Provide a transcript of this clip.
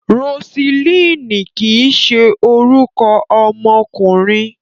Rosilíìnì kìí ṣe orúkọ ọmọkùnrin.